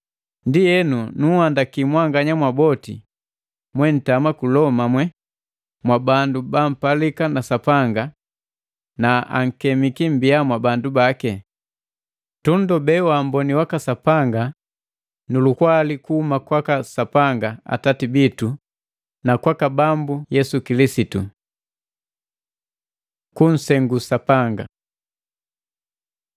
Ndienu nunhandaki mwanganya mwaboti mwentama ku Loma mwee mwabandu bampalika na Sapanga, na ankemiki mmbia mwabandu baki. Tunndobee waamboni waka Sapanga nu lukwali kuhuma kwaka Sapanga Atati bitu na kwaka Bambu Yesu Kilisitu. Kunsengu Sapanga